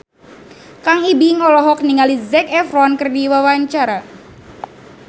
Kang Ibing olohok ningali Zac Efron keur diwawancara